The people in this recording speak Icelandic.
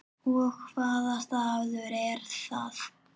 Og hvaða staður er það?